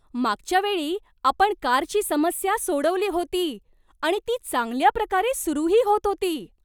मागच्या वेळी आपण कारची समस्या सोडवली होती आणि ती चांगल्याप्रकारे सुरूही होत होती.